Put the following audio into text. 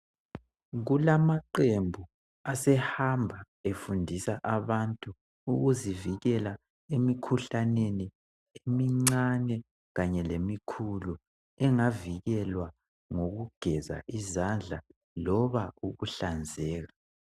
Kulamaqembu asehamba efundisa abantu ukuzivikela emikhuhlaneni emincane kanye lemikhulu engavikelwa ukugeza izandla loba ukuhlanzeka